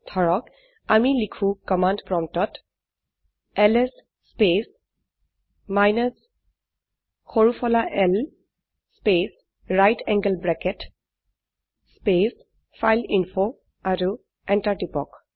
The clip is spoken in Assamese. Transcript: ধৰক আমি লিখো কমান্ড প্ৰম্পটত এলএছ স্পেচ মাইনাছ সৰু ফলা l space right angle bracket space file a info আৰু এন্টাৰ টিপক